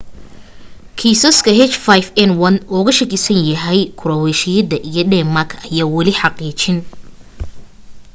kiisas h5n1 looga shakisan yahay kuraweeshiya iyo dheemaak ayaan wali xaqiijin